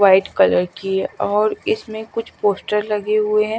White colour की और इसमें कुछ पोस्टर लगे हुए हैं।